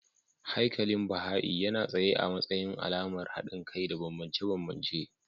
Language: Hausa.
Haikalin Baha'i yana tsaye a matsayin alamar haɗin kai da bambance-bambance.